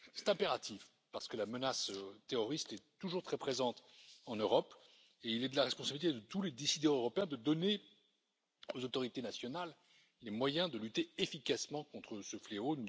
C'est impératif, parce que la menace terroriste est toujours très présente en Europe et il est de la responsabilité de tous les décideurs européens de donner aux autorités nationales les moyens de lutter efficacement contre ce fléau.